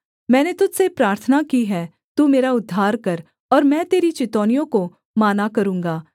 मैंने तुझ से प्रार्थना की है तू मेरा उद्धार कर और मैं तेरी चितौनियों को माना करूँगा